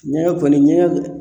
Ɲɛgɛn kɔni ɲɛgɛn